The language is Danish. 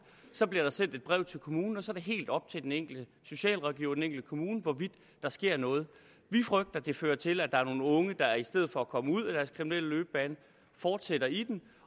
der bliver så et brev til kommunen og så er det helt op til den enkelte socialrådgiver og den enkelte kommune hvorvidt der sker noget vi frygter at det fører til at der er nogle unge der i stedet for at komme ud af deres kriminelle løbebane fortsætter i den